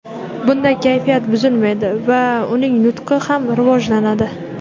Bunda kayfiyat buzilmaydi va uning nutqi ham rivojlanadi.